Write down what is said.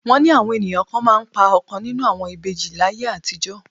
Wọ́n ni àwọn ènìyàn kan máa ń pa ọ̀kan nínú àwọn ìbejì láyé àtijọ́